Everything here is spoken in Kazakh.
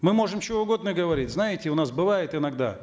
мы можем что угодно говорить знаете у нас бывает иногда